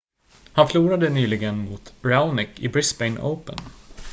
han förlorade nyligen mot raonic i brisbane open